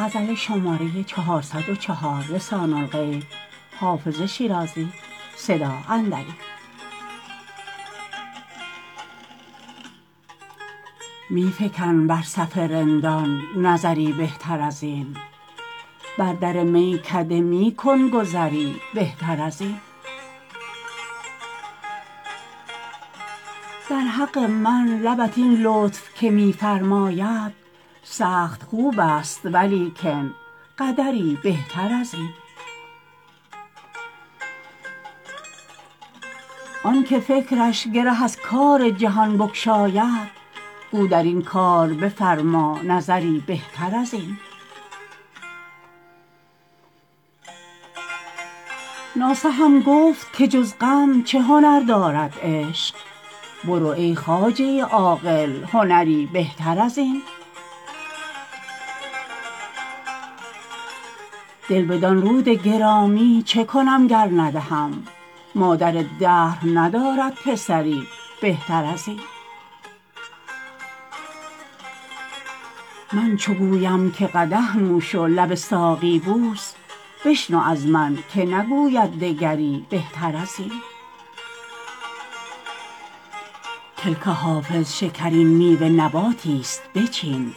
می فکن بر صف رندان نظری بهتر از این بر در میکده می کن گذری بهتر از این در حق من لبت این لطف که می فرماید سخت خوب است ولیکن قدری بهتر از این آن که فکرش گره از کار جهان بگشاید گو در این کار بفرما نظری بهتر از این ناصحم گفت که جز غم چه هنر دارد عشق برو ای خواجه عاقل هنری بهتر از این دل بدان رود گرامی چه کنم گر ندهم مادر دهر ندارد پسری بهتر از این من چو گویم که قدح نوش و لب ساقی بوس بشنو از من که نگوید دگری بهتر از این کلک حافظ شکرین میوه نباتی ست بچین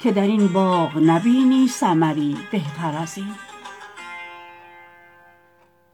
که در این باغ نبینی ثمری بهتر از این